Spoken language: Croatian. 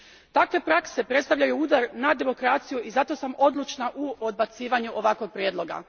Takve prakse predstavljaju udar na demokraciju i zato sam odlučna u odbacivanju ovakvog prijedloga.